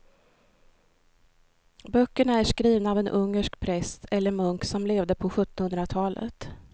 Böckerna är skrivna av en ungersk präst eller munk som levde på sjuttonhundratalet.